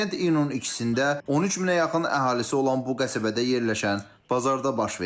İnsident iyunun 2-də 13 minə yaxın əhalisi olan bu qəsəbədə yerləşən bazarda baş verib.